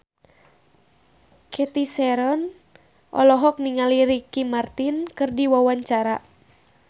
Cathy Sharon olohok ningali Ricky Martin keur diwawancara